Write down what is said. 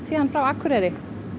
frá Akureyri